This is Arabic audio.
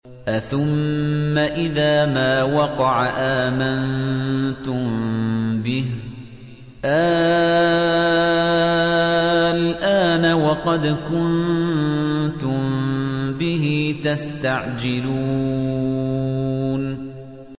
أَثُمَّ إِذَا مَا وَقَعَ آمَنتُم بِهِ ۚ آلْآنَ وَقَدْ كُنتُم بِهِ تَسْتَعْجِلُونَ